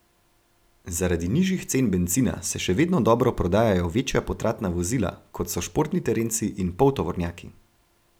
Zaradi nižjih cen bencina se še vedno dobro prodajajo večja potratna vozila, kot so športni terenci in poltovornjaki.